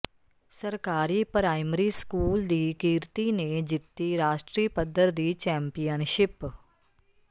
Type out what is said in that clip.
ਸਰਕਾਰੀ primary school ਦੀ ਕੀਰਤੀ ਨੇ ਜਿੱਤੀ ਰਾਸ਼ਟਰੀ ਪੱਧਰ ਦੀ ਚੈਂਪੀਅਨਸ਼ਿਪ